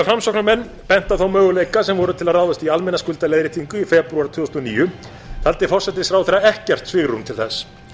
framsóknarmenn bentu á þá möguleika sem voru til að ráðast í almenna skuldaleiðréttingu í febrúar tvö þúsund og níu taldi forsætisráðherra ekkert svigrúm til þess